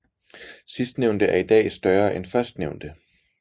Sidstnævnte er i dag større end førstnævnte